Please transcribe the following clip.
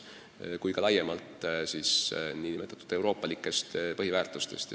Meie lähtume laiemalt nn euroopalikest põhiväärtustest.